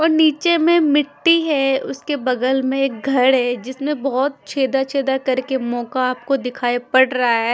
और नीचे में मिट्टी है उसके बगल में एक घड़ है जिसमें बहोत छेदा-छेदा करके मोका आपको दिखाई पड़ रहा है।